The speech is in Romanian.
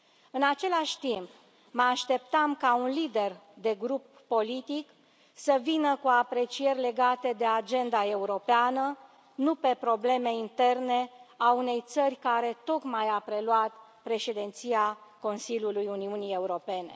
În același timp, mă așteptam ca un lider de grup politic să vină cu aprecieri legate de Agenda europeană, nu pe probleme interne ale unei țări care tocmai a preluat Președinția Consiliului Uniunii Europene.